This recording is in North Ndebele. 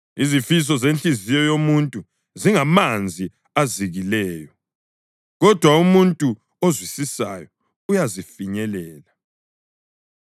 Izifiso zenhliziyo yomuntu zingamanzi azikileyo, kodwa umuntu ozwisisayo uyazifinyelela.